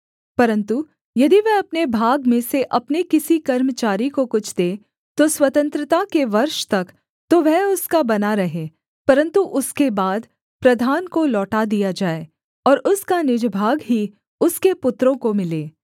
परन्तु यदि वह अपने भाग में से अपने किसी कर्मचारी को कुछ दे तो स्वतंत्रता के वर्ष तक तो वह उसका बना रहे परन्तु उसके बाद प्रधान को लौटा दिया जाए और उसका निज भाग ही उसके पुत्रों को मिले